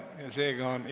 Seega on istung lõppenud.